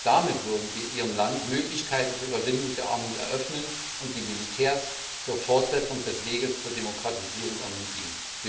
Damit würden wir ihrem Land Möglichkeiten zur Überwindung der Armut eröffnen und die Militärs zur Fortsetzung des Weges zur Demokratisierung ermutigen.